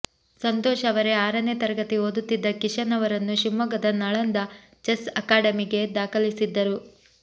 ಸಂತೋಷ್ ಅವರೇ ಆರನೇ ತರಗತಿ ಓದುತ್ತಿದ್ದ ಕಿಶನ್ ಅವರನ್ನು ಶಿವಮೊಗ್ಗದ ನಳಂದ ಚೆಸ್ ಅಕಾಡೆಮಿಗೆ ದಾಖಲಿಸಿದ್ದರು